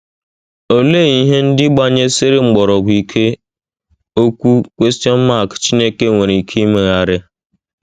Olee “ ihe ndị gbanyesiri mgbọrọgwụ ike ” Okwu Chineke nwere ike imegharị?